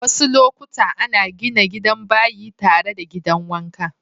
Wassu lokuta ana gina gidan bayi tare da gidan wanka.